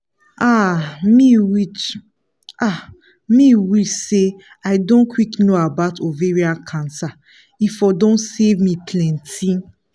ah me wish ah me wish say i don quick know about ovarian cancer e for don save me plenty